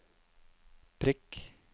prikk